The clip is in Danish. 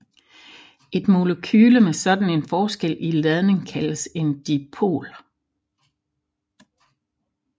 Et molekyle med sådan en forskel i ladning kaldes en dipol